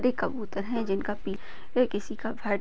कबूतर है जिनका पील ये किसिका घर--